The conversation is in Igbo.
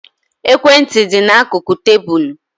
Ekwe ntị dị n'akụkụ tébulu